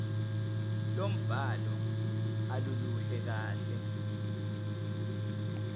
lombhalo aluluhle kahle